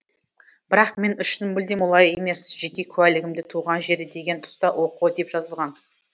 бірақ мен үшін мүлдем олай емес жеке куәлігімде туған жері деген тұста оқо деп жазылған